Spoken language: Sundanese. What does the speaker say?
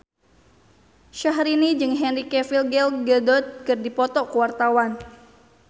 Syahrini jeung Henry Cavill Gal Gadot keur dipoto ku wartawan